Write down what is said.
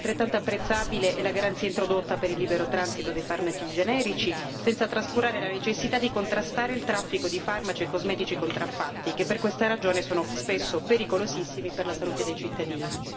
Altrettanto apprezzabile è la garanzia introdotta per il libero transito dei farmaci generici, senza trascurare la necessità di contrastare il traffico di farmaci e cosmetici contraffatti, che per questa ragione sono spesso pericolosissimi per la salute dei cittadini.